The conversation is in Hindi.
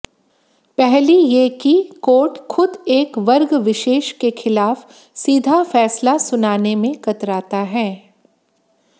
पहली ये की कोर्ट खुद एक वर्गविशेष के खिलाफ सीधा फैसला सुनाने में कतराता है